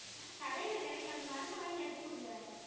ஆஹ் கடையில கிடைக்கும் அந்த மருந்தை வாங்கி அடிச்சு விடுங்க